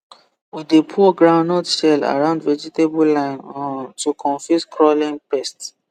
we dey pour groundnut shell around vegetable line um to confuse crawling pest